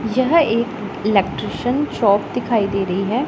यह एक electrician shop दिखाई दे रही है।